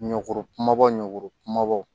Ɲɔgɔ kumaba ɲɔrɔ kumabaw